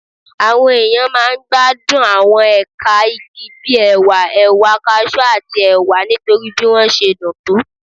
Àwọn èèyàn máa ń gbádùn àwọn ẹ̀ka igi bí ẹ̀wà, ẹ̀wà cashew, àti ẹ̀wà nítorí bí wọ́n ṣe dùn tó